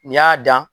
N'i y'a dan